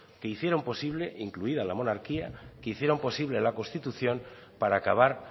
que hicieron posible e incluida la monarquía que hicieron posible la constitución para acabar